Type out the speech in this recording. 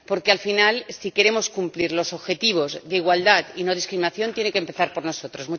Porque al final, si queremos cumplir los objetivos de igualdad y no discriminación, tiene que empezar por nosotros.